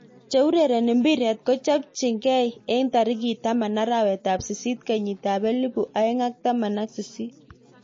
Cheurereni mpiret kochopekei eng tarik taman arawet ab sist kenyit ab elipu aeng ak taman ak sisit.